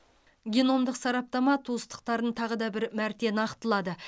геномдық сараптама туыстықтарын тағы да бір мәрте нақтылады